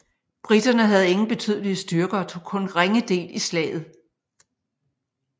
Briterne havde ingen betydelige styrker og tog kun ringe del i slaget